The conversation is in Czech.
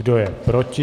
Kdo je proti?